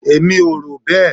Èmi ò rò bẹ́ẹ.